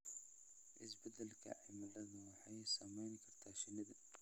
Isbeddelka cimiladu waxay saameyn kartaa shinnida.